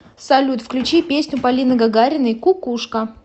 салют включи песню полины гагариной кукушка